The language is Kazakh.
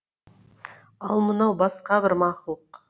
ал мынау басқа бір мақұлық